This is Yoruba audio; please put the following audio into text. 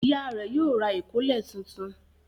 Ìyá rẹ̀ yóò ra ìkọ́lẹ̀ tuntun.